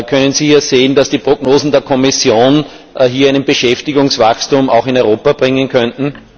Können Sie sehen, dass die Prognosen der Kommission hier ein Beschäftigungswachstum auch in Europa erbringen könnten?